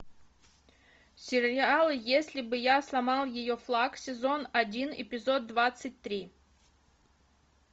сериал если бы я сломал ее флаг сезон один эпизод двадцать три